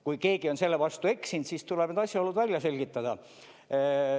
Kui keegi on selle vastu eksinud, siis tuleb need asjaolud välja selgitada.